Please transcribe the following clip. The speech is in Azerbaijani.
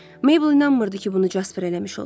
Mabel inanmırdı ki, bunu Casper eləmiş olsun.